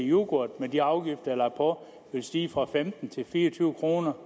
yoghurt med de afgifter lagt på vil stige fra femten kroner til fire og tyve kroner